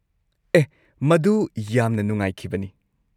ꯑꯦꯍ! ꯃꯗꯨ ꯌꯥꯝꯅ ꯅꯨꯡꯉꯥꯏꯈꯤꯕꯅꯤ꯫